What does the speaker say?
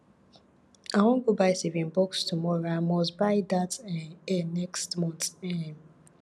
i wan go buy saving box tomorrow i must buy dat um hair next month um